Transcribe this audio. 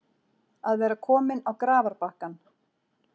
Að vera kominn á grafarbakkann